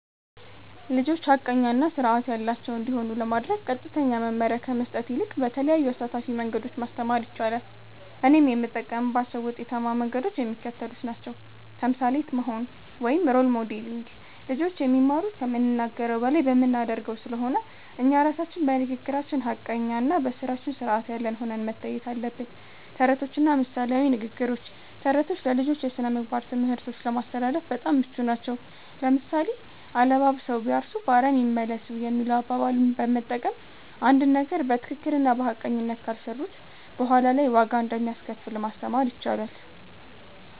ልጆች ሐቀኛ እና ሥርዓት ያላቸው እንዲሆኑ ለማድረግ ቀጥተኛ መመሪያ ከመስጠት ይልቅ በተለያዩ አሳታፊ መንገዶች ማስተማር ይቻላል። እኔም የምጠቀምባቸው ውጤታማ መንገዶች የሚከተሉት ናቸው። ተምሳሌት መሆን (Role Modeling)፦ ልጆች የሚማሩት ከምንናገረው በላይ በምናደርገው ስለሆነ፣ እኛ ራሳችን በንግግራችን ሐቀኛና በሥራችን ሥርዓት ያለን ሆነን መታየት አለብን። ተረቶችና ምሳሌያዊ ንግግሮች፦ ተረቶች ለልጆች የሥነ-ምግባር ትምህርቶችን ለማስተላለፍ በጣም ምቹ ናቸው። ለምሳሌ፣ "አለባብሰው ቢያርሱ በአረም ይመለሱ" የሚለውን አባባል በመጠቀም፣ አንድን ነገር በትክክልና በሐቀኝነት ካልሰሩት በኋላ ላይ ዋጋ እንደሚያስከፍል ማስተማር ይቻላል።